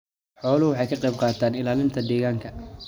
Xooluhu waxay ka qayb qaataan ilaalinta deegaanka.